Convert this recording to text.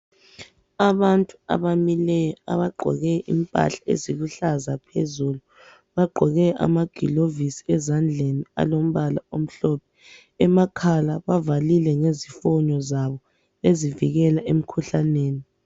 Abantu abamileyo, abagqoke impahla eziluhlaza phezulu, bagqoke amagilovisi ezandleni alamabala omhlophe. Amakhala bavalile ngezifonyo zabo ezivikela emkhuhlaneni.